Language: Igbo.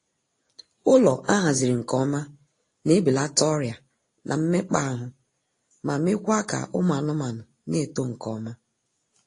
Ụlọ ahaziri nke ọma na ebelata ọrịa na mmekpaahụ, ma meekwaa ka ụmụ anmaanụ na-eto nkeọma